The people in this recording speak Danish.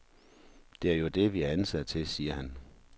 Det er jo det, vi er ansat til, siger han.